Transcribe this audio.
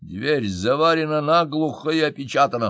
дверь заварена на глухо и опечатана